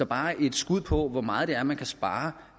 bare et skud på hvor meget det er man kan spare